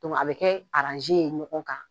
a bi kɛ ye ɲɔgɔn kan.